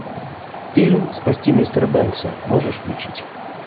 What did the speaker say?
фильм спасти мистера бенкса можешь включить